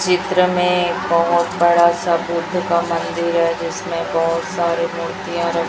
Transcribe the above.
चित्र में एक बहुत बड़ा सा बुद्ध का मंदिर है जिसमें बहुत सारी मूर्तियां र--